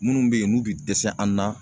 Minnu be yen n'u be dɛsɛ an na